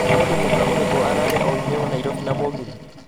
Nĩ mũndũ mũka ũriku ũraarĩ oĩme Nairobi na mũgithi